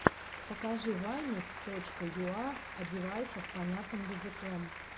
покажи вайны ф точка юа о девайсах понятным языком